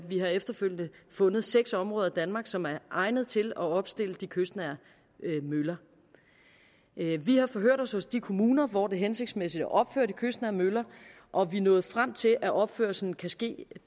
vi har efterfølgende fundet seks områder i danmark som er egnet til at opstille de kystnære møller i vi har forhørt os hos de kommuner hvor det er hensigtsmæssigt at opføre de kystnære møller og vi er nået frem til at opførelsen kan ske